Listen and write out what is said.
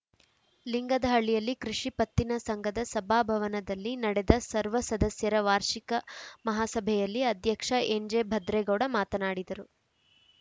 ಲಿಂಗದಹಳ್ಳಿಯಲ್ಲಿ ಕೃಷಿ ಪತ್ತಿನ ಸಂಘದ ಸಭಾ ಭವನದಲ್ಲಿ ನಡೆದ ಸರ್ವ ಸದಸ್ಯರ ವಾರ್ಷಿಕ ಮಹಾಸಭೆಯಲ್ಲಿ ಅಧ್ಯಕ್ಷ ಎನ್‌ಜೆಭದ್ರೇಗೌಡ ಮಾತನಾಡಿದರು